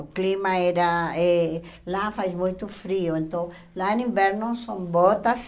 O clima era eh... Lá faz muito frio, então lá no inverno são botas